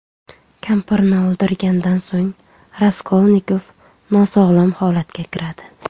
Kampirni o‘ldirgandan so‘ng Raskolnikov nosog‘lom holatga kiradi.